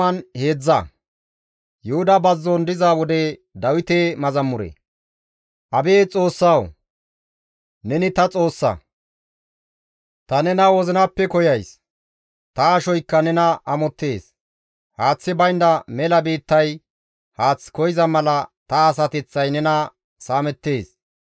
Abeet Xoossawu! Neni ta Xoossa; ta nena wozinappe koyays; ta ashoykka nena amottees. Haaththi baynda mela biittay haath koyza mala ta asateththay nena saamettees.